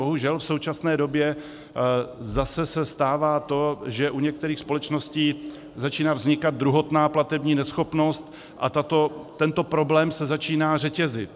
Bohužel v současné době zase se stává to, že u některých společností začíná vznikat druhotná platební neschopnost, a tento problém se začíná řetězit.